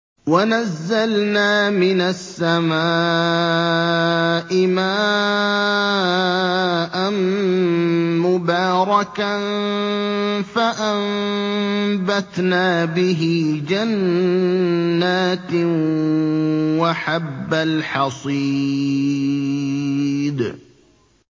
وَنَزَّلْنَا مِنَ السَّمَاءِ مَاءً مُّبَارَكًا فَأَنبَتْنَا بِهِ جَنَّاتٍ وَحَبَّ الْحَصِيدِ